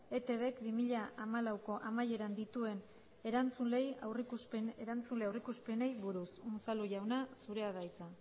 eitbk bi mila hamalaueko amaieran dituen erantzule aurreikuspenei buruz unzalu jauna zurea da hitza